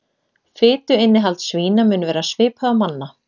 Fituinnihald svína mun vera svipað og manna.